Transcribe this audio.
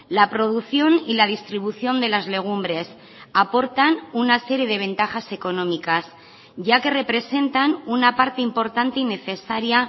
la producción y la distribución de las legumbres aportan una serie de ventajas económicas ya que representan una parte importante y necesaria